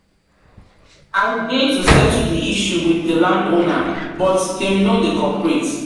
dey to settle di issue with di landowner, but dem no dey cooperate.